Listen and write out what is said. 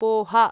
पोह